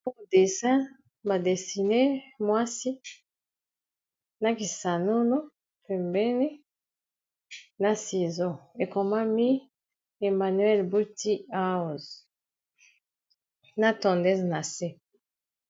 Dessin ba dessine mwasi na kisanulo pembene na sizo ekomami emmanuel buti house na tondese na se